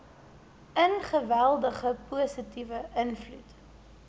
geweldige positiewe invloed